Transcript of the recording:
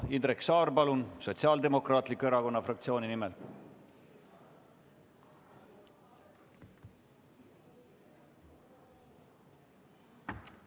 Indrek Saar, palun, Sotsiaaldemokraatliku Erakonna fraktsiooni nimel!